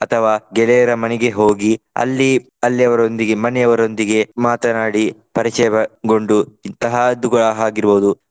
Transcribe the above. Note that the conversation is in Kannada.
ಅಥವಾ ಗೆಳೆಯರ ಮನೆಗೆ ಹೋಗಿ ಅಲ್ಲಿ ಅಲ್ಲಿ ಅವರೊಂದಿಗೆ ಮನೆಯವರೊಂದಿಗೆ ಮಾತನಾಡಿ ಪರಿಚಯಗೊಂಡು ಇಂತಹದ್ದು ಕೂಡ ಆಗಿರ್ಬಹುದು.